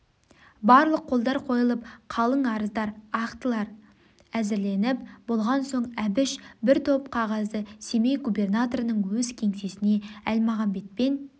барлық қолдар қойылып қалың арыздар ақтылар әзірленіп болған соң әбіш бір топ қағазды семей губернаторының өз кеңсесіне әлмағамбетпен